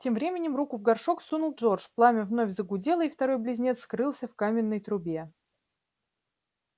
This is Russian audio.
тем временем руку в горшок сунул джордж пламя вновь загудело и второй близнец скрылся в каминной трубе